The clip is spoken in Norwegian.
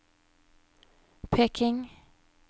Peking